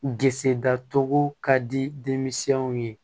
Gse datogo ka di denmisɛnw ye